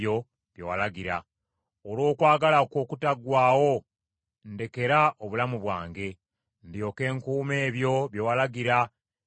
Olw’okwagala kwo okutaggwaawo ndekera obulamu bwange, ndyoke nkuume ebyo bye walagira ebiva mu kamwa ko.